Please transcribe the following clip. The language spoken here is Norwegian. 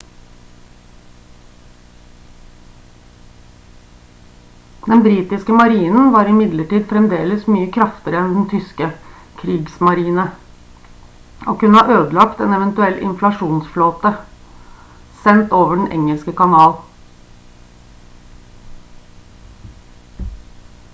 den britiske marinen var imidlertid fremdeles mye kraftigere enn den tyske «kriegsmarine» og kunne ha ødelagt en eventuell invasjonsflåte sendt over den engelske kanal